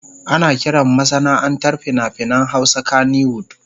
Ana kiran masana'antar fina-finan Hausa kannywood.